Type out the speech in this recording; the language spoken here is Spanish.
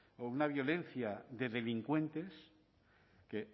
o una violencia de delincuentes que